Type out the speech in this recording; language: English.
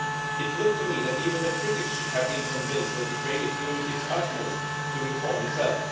It seemed to me that even the critics should have been convinced that Ukraine is doing its utmost to reform itself.